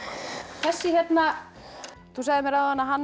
þessi hérna þú sagðir mér áðan að hann